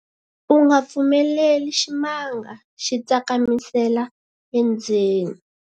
u nga pfumeleli ximanga xi tsakamisela endzeni